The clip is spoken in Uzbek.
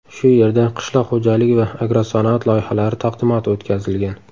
Shu yerda qishloq xo‘jaligi va agrosanoat loyihalari taqdimoti o‘tkazilgan.